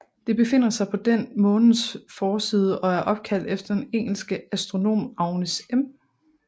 Det befinder sig på den Månens forside og er opkaldt efter den engelske astronom Agnes M